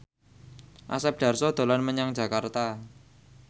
Asep Darso dolan menyang Jakarta